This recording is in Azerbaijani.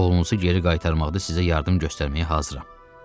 Oğlunuzu geri qaytarmaqda sizə yardım göstərməyə hazıram.